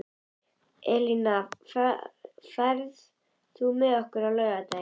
Elína, ferð þú með okkur á laugardaginn?